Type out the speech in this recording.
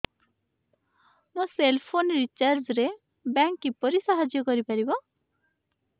ମୋ cell phone recharge ରେ bank କିପରି ସାହାଯ୍ୟ କରିପାରିବ